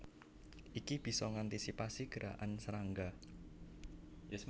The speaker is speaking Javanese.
Iki bisa ngantisipasi gerakan serangga